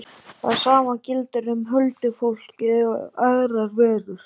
Það sama gildir um huldufólkið og aðrar verur.